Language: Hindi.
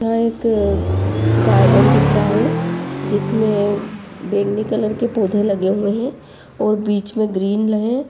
यहां एक गार्डन दिख रहा है जिसमें बैगनी कलर के पौधे लगे हुए हैं और बीच में ग्रीन हैं।